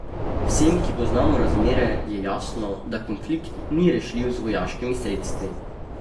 Vsem, ki poznamo razmere, je jasno, da konflikt ni rešljiv z vojaškimi sredstvi.